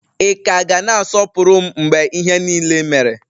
Ị ka ga na-asọpụrụ m mgbe ihe niile mere?